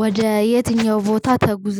ወደ የትኛው ቦታ ተጉዘ